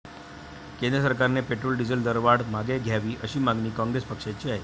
केंद्र सरकारने petrol, diesel दरवाढ मागे घ्यावी, अशी मागणी कॉंग्रेस पक्षाची आहे.